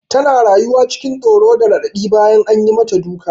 Tana rayuwa cikin tsoro da raɗaɗi bayan an yi mata duka.